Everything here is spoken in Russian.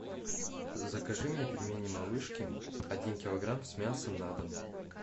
закажи мне пельмени малышкин один килограмм с мясом на дом